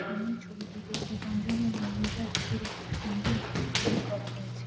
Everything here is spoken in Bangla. সামনের ছবিটিতে দীপাঞ্জন ও মৌমিতার বিয়ের একটি সুন্দর গেট তৈরী করা হয়েছে ।